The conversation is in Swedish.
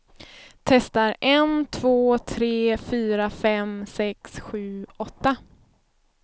Testar en två tre fyra fem sex sju åtta.